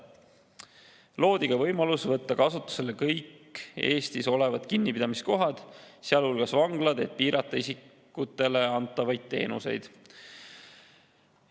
Loodi võimalus võtta kasutusele kõik Eestis olevad kinnipidamiskohad, sealhulgas vanglad, et piirata isikutele antavaid teenuseid.